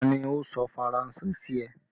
Ta ni ó sọ Faranse sí ẹ?